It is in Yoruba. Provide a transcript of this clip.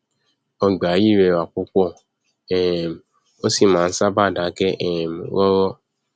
ọgbà yìí rẹwà púpọ um ó sì máa nṣábàá dákẹ um rọrọ